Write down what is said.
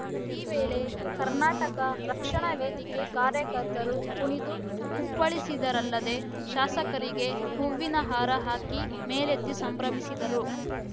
ಈ ವೇಳೆ ಕರ್ನಾಟಕ ರಕ್ಷಣಾ ವೇದಿಕೆ ಕಾರ್ಯಕರ್ತರು ಕುಣಿದು ಕುಪ್ಪಳಿಸಿದರಲ್ಲದೆ ಶಾಸಕರಿಗೆ ಹೂವಿನ ಹಾರ ಹಾಕಿ ಮೇಲೆತ್ತಿ ಸಂಭ್ರಮಿಸಿದರು